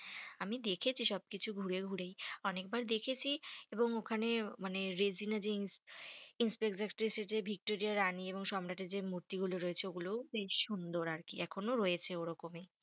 আমি দেখেছি সব কিছু ঘুরে ঘুরেই অনেক বার দেখেছি এবং ওখানে মানে ভিক্টোরিয়া রানী এবং সম্রাটের যে মূর্তি গুলো বেশ সুন্দর আর কি, এখনো রয়েছে ও রকমই,